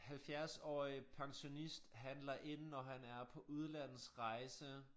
Halvfjerdsårig pensionist handler ind når han er på udlandsrejse